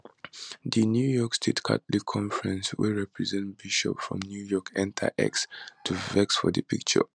di new york state catholic conference wey represent bishops from new york enta x to vex for di picture